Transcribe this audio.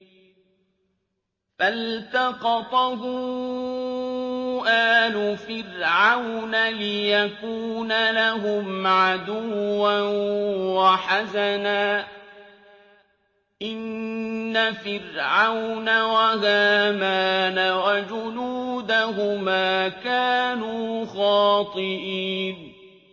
فَالْتَقَطَهُ آلُ فِرْعَوْنَ لِيَكُونَ لَهُمْ عَدُوًّا وَحَزَنًا ۗ إِنَّ فِرْعَوْنَ وَهَامَانَ وَجُنُودَهُمَا كَانُوا خَاطِئِينَ